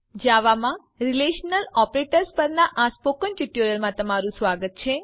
જાવામાં relational operators પરના spoken ટ્યુટોરીયલમાં તમારું સ્વાગત છે